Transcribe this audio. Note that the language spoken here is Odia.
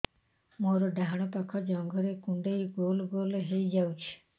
ମୋର ଡାହାଣ ପାଖ ଜଙ୍ଘରେ କୁଣ୍ଡେଇ ଗୋଲ ଗୋଲ ହେଇଯାଉଛି